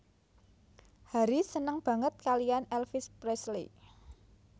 Harry seneng banget kalian Elvis Presley